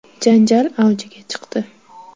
Janjal avjiga chiqdi.